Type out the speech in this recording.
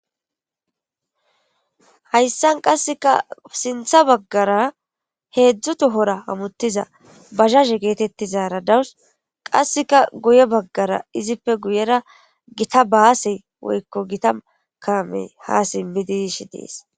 hayssan qasseka sintha baggara heedzdzu tohora amuttiza bazhahe geetettizara dawus qasseka guye baggara izippe guyera gita baasey woykko gita kame ha simmidish dees